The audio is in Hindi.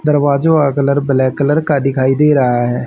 दरवाजों का कलर ब्लैक कलर का दिखाई दे रहा है।